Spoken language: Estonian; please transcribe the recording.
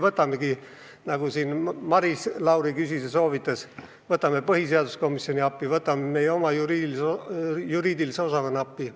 Võtamegi, nagu Maris Lauri soovitas, põhiseaduskomisjoni appi, võtame meie oma õigusosakonna appi.